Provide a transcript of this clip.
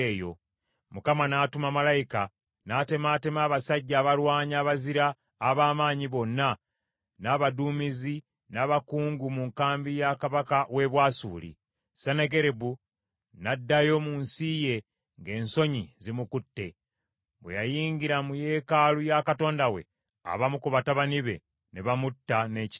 Mukama n’atuma malayika, n’atemaatema abasajja abalwanyi abazira ab’amaanyi bonna n’abaduumizi, n’abakungu mu nkambi ya kabaka w’e Bwasuli. Sennakeribu n’addayo mu nsi ye ng’ensonyi zimukutte. Bwe yayingira mu yeekaalu ya katonda we, abamu ku batabani be ne bamutta n’ekitala.